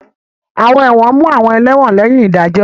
Àwọn ẹ̀wọ̀n mú àwọn ẹlẹ́wọ̀n lẹ́yìn ìdájọ́.